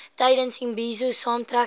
tydens imbizo saamtrekke